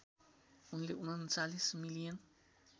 उनले ३९ मिलियन